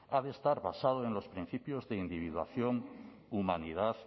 ha de estar basado en los principios de individuación humanidad